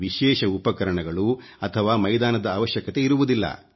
ವಿಶೇಷ ಉಪಕರಣಗಳು ಅಥವಾ ಮೈದಾನದ ಅವಶ್ಯಕತೆ ಇರುವುದಿಲ್ಲ